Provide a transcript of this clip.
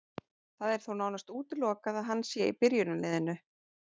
Það er þó nánast útilokað að hann sé í byrjunarliðinu.